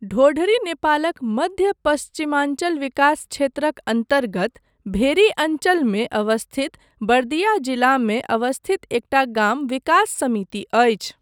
ढोढरी नेपालक मध्य पश्चिमाञ्चल विकास क्षेत्रक अन्तर्गत भेरी अञ्चलमे अवस्थित बर्दिया जिलामे अवस्थित एकटा गाम विकास समिति अछि।